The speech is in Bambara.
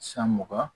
San mugan